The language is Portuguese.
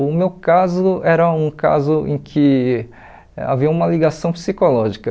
O meu caso era um caso em que havia uma ligação psicológica.